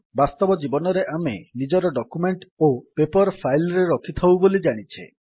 ବାସ୍ତବ ଜୀବନରେ ଆମେ ନିଜର ଡକ୍ୟୁମେଣ୍ଟ୍ ଓ ପେପର୍ ଫାଇଲ୍ ରେ ରଖିଥାଉ ବୋଲି ଜାଣିଛେ